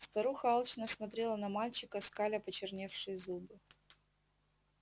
старуха алчно смотрела на мальчика скаля почерневшие зубы